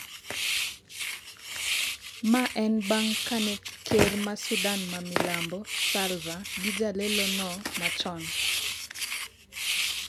ma en bang' kane ker ma Sudan ma Milambo Salva gi jalelono machon